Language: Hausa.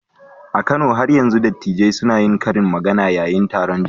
A Kano, har yanzu dattijai suna yin karin magana yayin taron jama'a